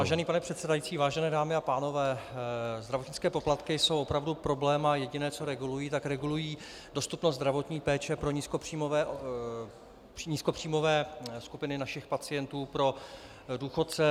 Vážený pane předsedající, vážené dámy a pánové, zdravotnické poplatky jsou opravdu problém a jediné, co regulují, tak regulují dostupnost zdravotní péče pro nízkopříjmové skupiny našich pacientů, pro důchodce.